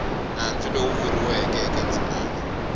nandzu lowu vuriweke eka ndzimana